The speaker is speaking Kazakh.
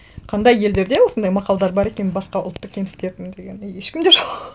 қандай елдерде осындай мақалдар бар екен басқа ұлтты кемсітетін деген и ешкімде жоқ